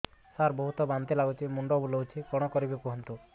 ସାର ବହୁତ ବାନ୍ତି ଲାଗୁଛି ମୁଣ୍ଡ ବୁଲୋଉଛି କଣ କରିବି କୁହନ୍ତୁ